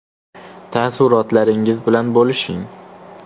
Taassurotlaringiz bilan bo‘lishing!